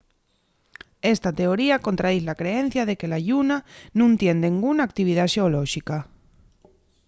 esta teoría contradiz la creencia de que la lluna nun tien denguna actividá xeolóxica